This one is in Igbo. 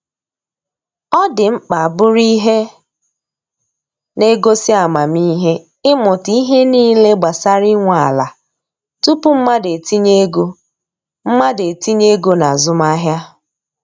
Ọ dị mkpa bụrụ ihe na-egosi amamihe ịmụta ihe niile gbasara inwe ala tupu mmadụ etinye ego mmadụ etinye ego na azụmahịa.